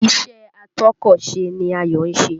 Ìṣe atọ́kọ̀sè ni Ayọ̀ ń ṣe